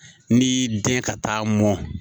N'i y'i den ka taa mɔn